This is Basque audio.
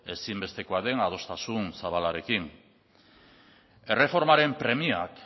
ezinbestekoa den adostasun zabalarekin erreformaren premiak